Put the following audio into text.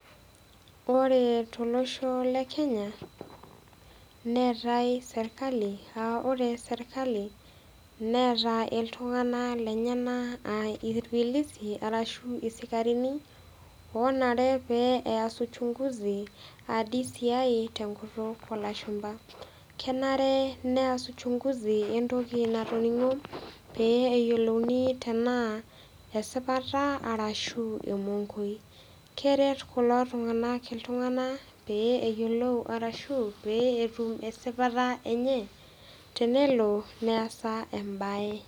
Ore tolosho le Kenya, neatai serkali aa ore sirkali, neata iltung'ana lenyena aa ilpilisi arashu isikarini oonare pee eas uchung'uzi, aa DCI te enkutuk o ilashumba. Kenare pee eas uchunguzi entoki natoning'o pee eeyolou tanaa esipata arashu emongoi. Keret kulo tung'ana iltung'ana pee eyiolou arashu pee etum esipata enye, tenelo neasaa embae.